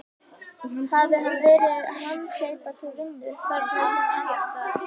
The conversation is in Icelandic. Hafi hann verið hamhleypa til vinnu, þarna sem annars staðar.